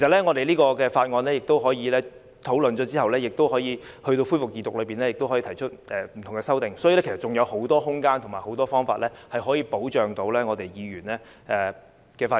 我們可以在事務委員會討論《條例草案》時提出意見，在恢復二讀時也可以提出不同的修正案，所以還有很多空間及方法，可以保障議員的發言權。